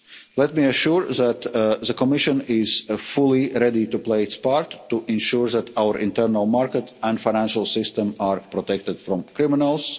Let me assure you that the Commission is fully ready to play its part to ensure that our internal market and financial system are protected from criminals.